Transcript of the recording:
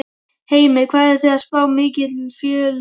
Heimir: Hvað eruð þið að spá mikilli fjölgun?